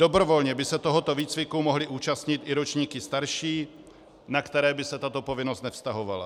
Dobrovolně by se tohoto výcviku mohly účastnit i ročníky starší, na které by se tato povinnost nevztahovala.